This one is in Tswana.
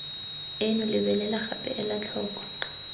eno lebelela gape ela tlhoko